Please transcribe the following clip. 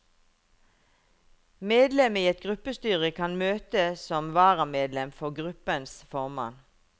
Medlem i et gruppestyre kan møte som varamedlem for gruppens formann.